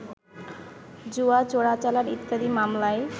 জুয়া, চোরাচালান ইত্যাদি মামলায়